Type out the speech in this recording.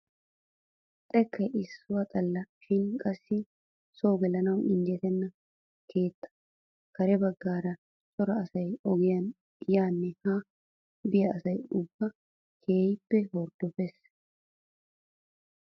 Xekkay issuwaa xalla shin qassi soo gelanawu injjetenna keettaa kare baggaara cora asay ogiyaan yaanne haa biyaa asa ubbay keehippe horddopees!